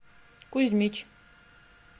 кузьмич